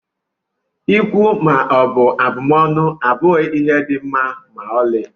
Ikwu maọbụ abụmọnụ abụghị ihe dị mma ma ọlị